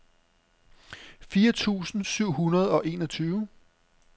fire tusind syv hundrede og enogtyve